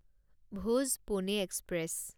Bhuj Pune express